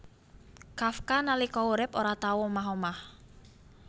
Kafka nalika urip ora tau omah omah